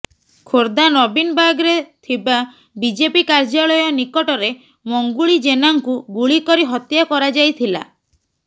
ଖୋର୍ଦ୍ଧା ନବୀନବାଗରେ ଥିବା ବିଜେପି କାର୍ଯ୍ୟାଳୟ ନିକଟରେ ମଙ୍ଗୁଳି ଜେନାଙ୍କୁ ଗୁଳି କରି ହତ୍ୟା କରାଯାଇଥିଲା